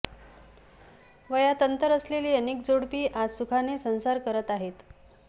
वयात अंतर असलेली अनेक जोडपी आज सुखाने संसार करत आहेत